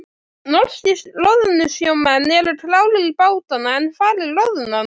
Norskir loðnusjómenn eru klárir í bátana en hvar er loðnan?